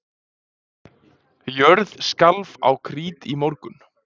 Jörð skalf á Krít í morgun